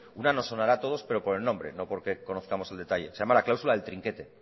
una nos sonará a todos pero por el nombre no porque conozcamos el detalle se llama la cláusula del trinquete